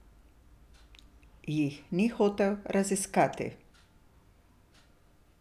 Jih ni hotel raziskati.